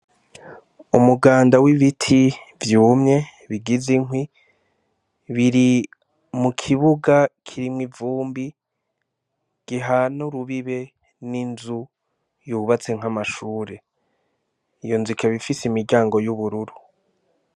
Umuganda w'ibiti vyumye bigize inkwi, biri mu kibuga kirimwo ivumbi, gihana urubibe n'inzu yubatse nk'amashure. Iyo nzu ikaba ifise imiryango y'ubururu.